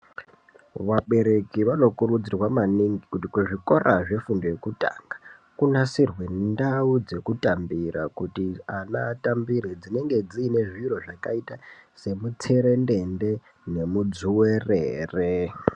Vabereki vano kurudzirwa maningi kuti kuzvikora zvefundo yekutanga kunasirwe ndau dzekutambira. Kuti ana atambire dzinenge dziine zviro zvakaita semu tserendende nemudzuverere.